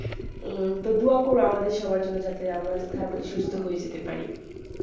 উম তো দুয়া কর আমাদের সবার জন্য যাতে আমরা তাড়াতাড়ি সুস্থ হয়ে যেতে পারি